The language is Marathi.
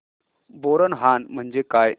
बोरनहाण म्हणजे काय